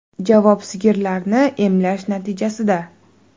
Javob sigirlarni emlash natijasida.